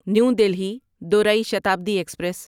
new Delhi دورای Shatabdi express